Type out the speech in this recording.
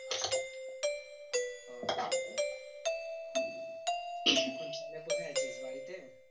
এখন তাহলে কোথায় আছিস বাড়ি তে?